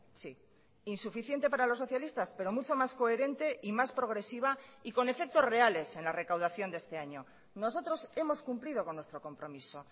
sí insuficiente para los socialistas pero mucho más coherente y más progresiva y con efectos reales en la recaudación de este año nosotros hemos cumplido con nuestro compromiso